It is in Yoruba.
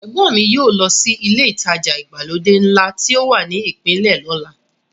Ẹ̀gbọ́n mi yóò lọ sí ilé ìtajà ìgbàlódé ńlá tí ó wà ní ìpínlẹ̀ lọ́la.